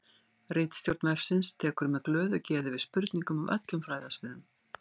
Ritstjórn vefsins tekur með glöðu geði við spurningum af öllum fræðasviðum.